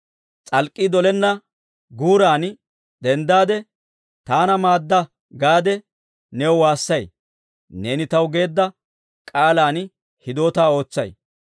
S'alk'k'ii dolenna guuran denddaade, «Taana maadda» gaade new waassay. Neeni taw geedda k'aalan hidootaa ootsay.